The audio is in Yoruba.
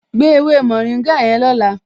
Gbé ewé mórìngà yẹn lọ́la